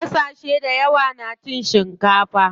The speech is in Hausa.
Ƙasashe dayawa na cin shikafa.